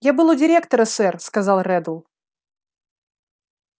я был у директора сэр сказал реддл